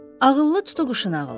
Ağıllı tutuquşunun ağılı.